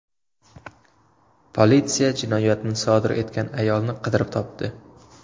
Politsiya jinoyatni sodir etgan ayolni qidirib topdi.